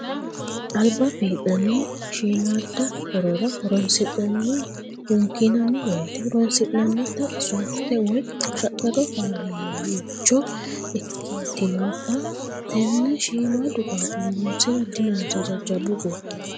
Alba fii'nanni shiimada horora horonsi'nanni hunkinanni woyte horonsi'nannitta sofite woyi shaqqado fayicho ikkitinotta tene shiimadu qaaqquli horonsira dinonsa jajjabbu gobbanni